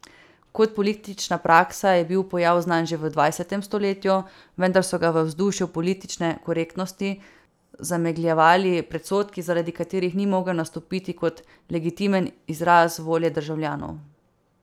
Kot politična praksa je bil pojav znan že v dvajsetem stoletju, vendar so ga v vzdušju politične korektnosti zamegljevali predsodki, zaradi katerih ni mogel nastopiti kot legitimen izraz volje državljanov.